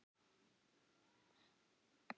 Það gat stundum verið gaman að henni.